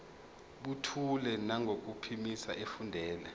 buthule nangokuphimisa efundela